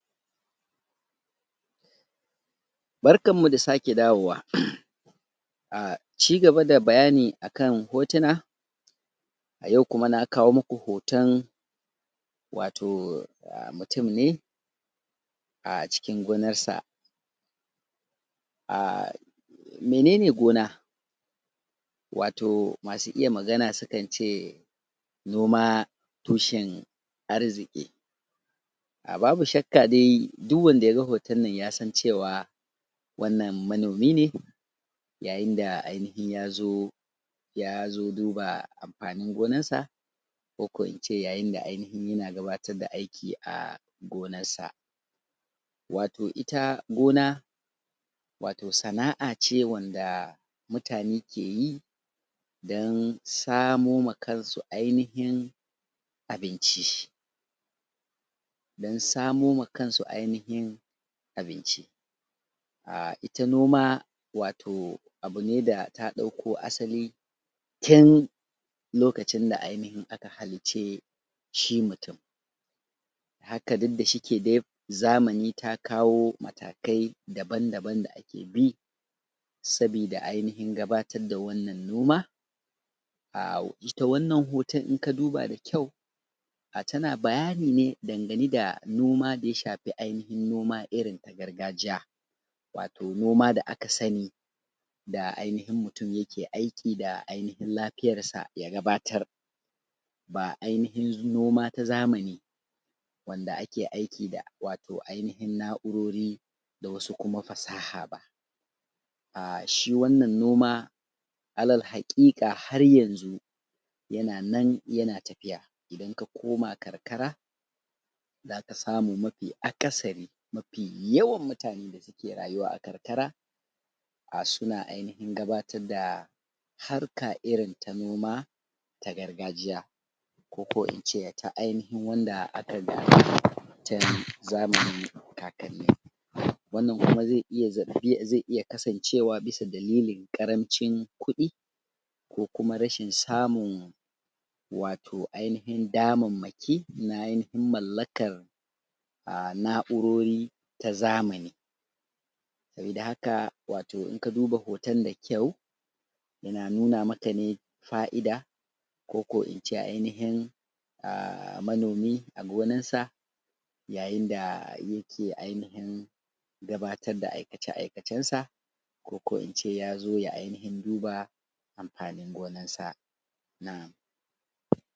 Barkanmu da sake dawowa uhm a cigaba da bayani akan hotuna a yau kuma na kawo muku hoton wato mutum ne a cikin gonarsa a mene ne gona? wato masu iya magana sukan ce noma tushen arziki aa babu shakka dai duk wanda yaga hoton nan yasan cewa wannan manomi ne yayin da ainihin ya zo ya zo duba amfanin gonarsa ko ko in ce yayin da yake gabatar da aiki a gonarsa wato ita gona wato sana’a ce wanda mutane ke yi don samoma kansu ainihin abinci don samo ma kansu ainahin abinci aa ita noma wato abu ne da ta ɗauko asali tun lokacin da ainihin aka halicce shi mutum haka duk da yake shi dai zamani ta kawo matakai daban-daban da ake bi sabida ainihin gabatar da wannan noma aa ita wannan hoton inka duba da kyau a tana bayani ne dangane da noma da ya shafi ainihin noma irin na gargajiya, wato noma da aka sani da ainihin mutum yake aiki da ainihin lafiyarsa ya gabatar ba ainihin noma ta zamani wanda ake aiki da wato ainihin na’urori da wasu kuma fasaha ba aa shi wannan noma alal haƙiƙa har yanzu yana nan yana tafiya idan ka koma karkara zaka samu mafi akasari mafi yawan mutane da suke rayuwa a karkara a suna ainihin gabatar da harka irin ta noma ta gargajiya ko ko in ce ta ainihin wanda aka? Gada tun zamanin kakanni, wannan kuma zai iya kasancewa bisa dalilin ƙarancin kuɗi ko kuma rashin samun wato ainihin damarmaki wato na ainihin mallakar aa na’urori ta zamani saboda haka in ka duba hoton da kyau yana nuna maka ne fa’ida ko ko in ce ainihin aa manomi a gonarsa yayin da yake ainihin gabatar da aikace-aikacensa ko ko ince ya zo ya ainihin duba amfanin gonarsa na